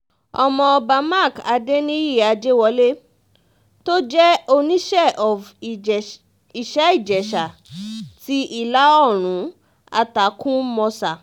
ọmọọba mark adẹniyí àjẹwọ́lẹ̀ tó jẹ́ oníṣẹ́ of ìjẹ̀ṣ ìṣẹ́-ìjẹsà ti ìlà oòrùn àtàkumọ̀sà